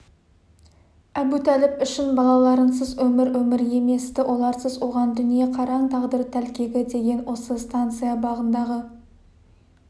әбутәліп үшін балаларынсыз өмір өмір емес-ті оларсыз оған дүние қараң тағдыр тәлкегі деген осы станция бағындағы